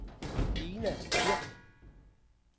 Dina Kirk